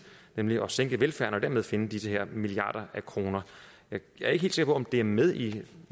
nemlig at sænke velfærden og dermed finde de her milliarder af kroner jeg er ikke helt sikker på om det er med i